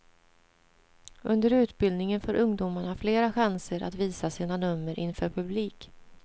Under utbildningen får ungdomarna flera chanser att visa sina nummer inför publik.